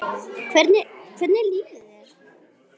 Hvernig líður þér?